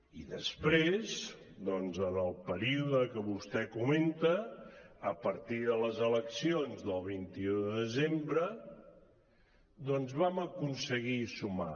i després doncs en el període que vostè comenta a partir de les eleccions del vint un de desembre vam aconseguir sumar